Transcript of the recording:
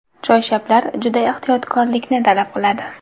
Choyshablar juda ehtiyotkorlikni talab qiladi.